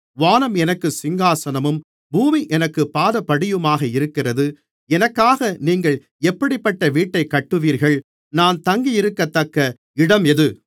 வானம் எனக்குச் சிங்காசனமும் பூமி எனக்குப் பாதபடியுமாக இருக்கிறது எனக்காக நீங்கள் எப்படிப்பட்ட வீட்டைக் கட்டுவீர்கள் நான் தங்கியிருக்கத்தக்க இடம் எது